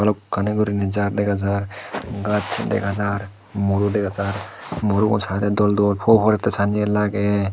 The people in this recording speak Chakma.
balokkani goriney jaar dega jaar gach dega jaar muro dega jaar murogun sadey doldol huo porette sanyen lager.